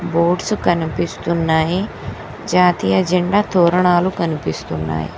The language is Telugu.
బోడ్సు కనిపిస్తున్నాయి జాతీయ జెండా తోరణాలు కనిపిస్తున్నాయ్.